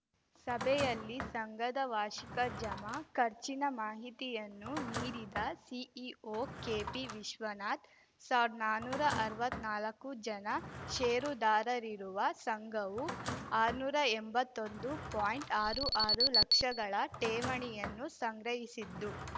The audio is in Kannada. ಸಭೆಯಲ್ಲಿ ಸಂಘದ ವಾರ್ಷಿಕ ಜಮಾ ಖರ್ಚಿನ ಮಾಹಿತಿಯನ್ನು ನೀಡಿದ ಸಿಇಒ ಕೆಪಿ ವಿಶ್ವನಾಥ್ ಸಾವ್ರ್ದ ನಾನುರಾ ಅರ್ವತ್ನಾಲ್ಕು ಜನ ಷೇರುದಾರರಿರುವ ಸಂಘವು ಆರ್ನೂರ ಎಂಬತ್ತೊಂದು ಪಾಯಿಂಟ್ಆರು ಆರು ಲಕ್ಷಗಳ ಠೇವಣಿಯನ್ನು ಸಂಗ್ರಹಿಸಿದ್ದು